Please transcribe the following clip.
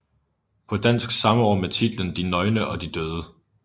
På dansk samme år med titlen De nøgne og de døde